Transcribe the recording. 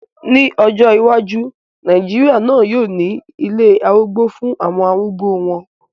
Ní ọjọ́ iwájú, Nàìjíríà náà yóò ní ilé arúgbó fún àwọn arúgbó wọn